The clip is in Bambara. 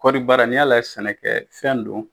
Kɔribaara n'i y'a lajɛ sɛnɛkɛfɛn don